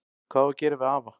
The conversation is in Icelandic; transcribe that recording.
Hvað á að gera við afa?